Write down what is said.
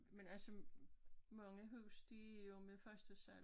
Men altså mange huse de er jo med første sal